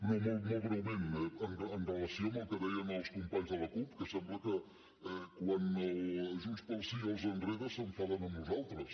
no molt breument en relació amb el que deien els companys de la cup que sembla que quan junts pel sí els enreda s’enfaden amb nosaltres